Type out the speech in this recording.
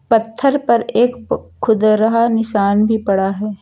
पत्थर पर एक खुरदुरा निशान भी पड़ा है।